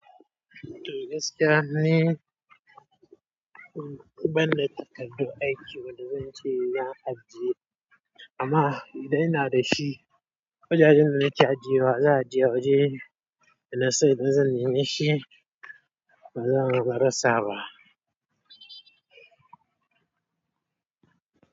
To gaskiya ni, ban da takardun aiki wanda zan ce na ajiye amma idan ina da shi, kujerun da na ce ajiye wa za a je waje ina sai na zane shi, ba zan barasa ba.